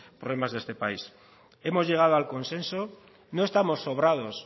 problemas de esta país hemos llegado al consenso no estamos sobrados